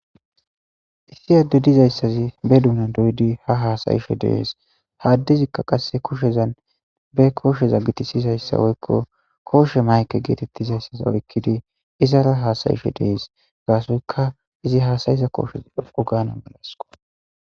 Issi adde dizayssazi be duna doydi ha haasayisho dees haaddezikka qasse koshezan be koosheza gitisizayssa woykko kooshe mayke geetettizayssaza oykkidi izara haasayisho dees gaasoyka izi haasayiza kooshes ogaana malasiko.